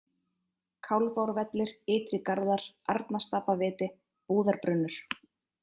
Kálfárvellir, Ytri Garðar, Arnarstapaviti, Búðarbrunnur